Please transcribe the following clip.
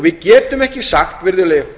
við getum ekki sagt virðulegi